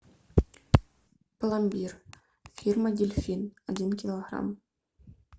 пломбир фирма дельфин один килограмм